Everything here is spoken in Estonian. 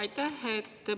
Aitäh!